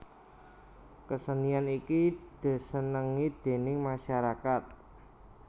Kesenian iki desenengi déning masyarakat